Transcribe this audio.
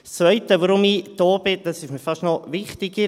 Der zweite Grund, weshalb ich hier bin, ist mir fast noch wichtiger.